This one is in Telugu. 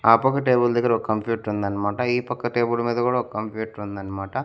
ఆ పక్క టేబుల్ దగ్గర ఒక కంప్యూటర్ ఉందన్నమాట ఈ పక్క టేబుల్ మీద కూడా ఒక కంప్యూటర్ ఉందన్నమాట.